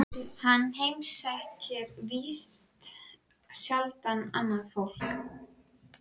Hann heimsækir víst sjaldan annað fólk.